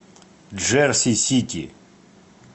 джерси сити